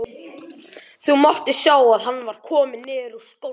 Það mátti sjá að hann var kominn niður úr skónum.